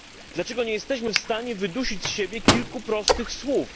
Dlaczego nie jesteśmy w stanie wydusić z siebie kilku prostych słów?